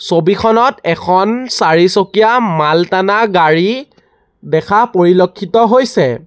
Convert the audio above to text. ছবিখনত এখন চাৰিচকীয়া মাল টানা গাড়ী দেখা পৰিলক্ষিত হৈছে।